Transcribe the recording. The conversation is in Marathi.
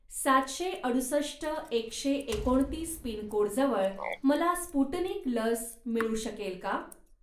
सातशे अडुसष्ट एकशे एकोणतीस पिनकोडजवळ मला स्पुटनिक लस मिळू शकेल का?